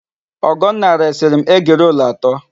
Ọgọnna resịrị m egirolu atọ.